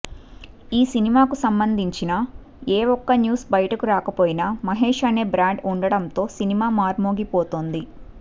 ఈ సినిమాకు సంబంధించిన ఏ ఒక్క న్యూస్ బయటకు రాకపోయినా మహేష్ అనే బ్రాండ్ ఉండడంతో సినిమా మార్మోగిపోతోంది